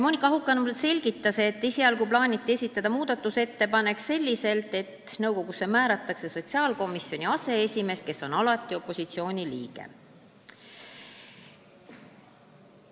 Monika Haukanõmm selgitas, et esialgu plaaniti esitada muudatusettepanek selliselt, et nõukogusse määratakse sotsiaalkomisjoni aseesimees, kes on alati opositsiooni liige.